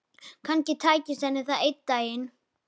Kannski tækist henni það einn daginn.